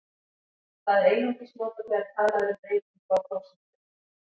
Það er einungis notað þegar talað er um breytingu á prósentu.